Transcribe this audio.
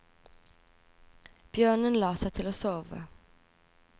Bjørnen la seg til å sove.